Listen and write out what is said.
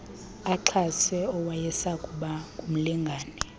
axhase owayesakuba ngumlingane